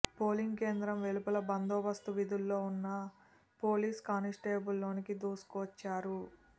polling కేంద్రం వెలుపల బందోబస్తు విధుల్లో ఉన్న పోలీస్ కానిస్టేబుల్ లోనికి దూసుకొచ్చారు